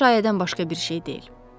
Bunlar şayədən başqa bir şey deyil.